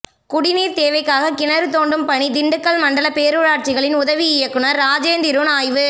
குடிநீர் தேவைக்காக கிணறு தோண்டும் பணி திண்டுக்கல் மண்டல பேரூராட்சிகளின் உதவி இயக்குனர் ராஜேந்திருன் ஆய்வு